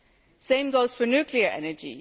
The same goes for nuclear energy.